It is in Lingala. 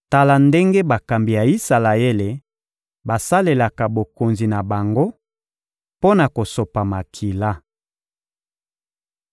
Tala ndenge bakambi ya Isalaele basalelaka bokonzi na bango mpo na kosopa makila.